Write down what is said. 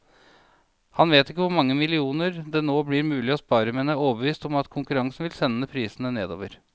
Han vet ikke hvor mange millioner det nå blir mulig å spare, men er overbevist om at konkurransen vil sende prisene nedover.